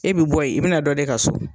E bi bɔ ye, i bɛna dɔ de ka so.